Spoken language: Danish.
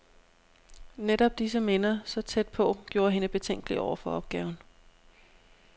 Netop disse minder, så tæt på, gjorde hende betænkelig over for opgaven.